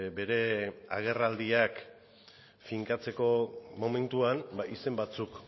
bere agerraldiak finkatzeko momentuan izen batzuk